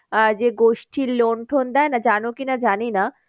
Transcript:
আহ যে গোষ্ঠির loan টোন দেয় না জানো কি না জানি না।